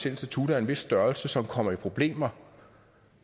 institutter af en vis størrelse som kommer i problemer